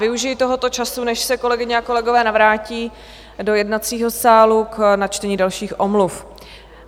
Využiji tohoto času, než se kolegyně a kolegové navrátí do jednacího sálu, k načtení dalších omluv.